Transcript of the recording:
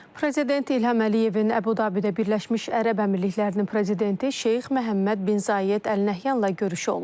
Prezident İlham Əliyevin Əbu Dabidə Birləşmiş Ərəb Əmirliklərinin prezidenti Şeyx Məhəmməd bin Zayed Əl Nəhyanla görüşü olub.